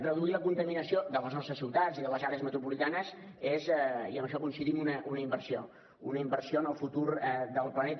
reduir la contaminació de les nostres ciutats i de les àrees metropolitanes és i en això hi coincidim una inversió una inversió en el futur del planeta